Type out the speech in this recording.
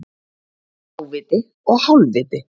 Fáviti og hálfviti